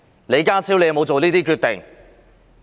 李家超有否下這些決定？